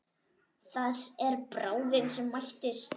Það er bráðin sem mæðist.